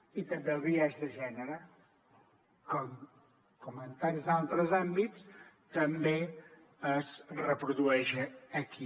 i també el biaix de gènere com en tants altres àmbits també es reprodueix aquí